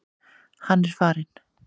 Hann er farinn.